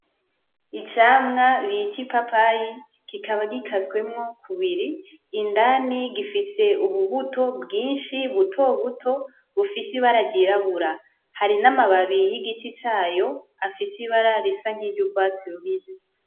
Icamwa bita ipapayi kikaba gikaswemwo kubiri. Indani gifise ububuto bwinshi butobuto bufise ibara ryirabura. Hari n'amababi y'igiti cayo afise ibara risa nk'iryo urwatsi rubisi.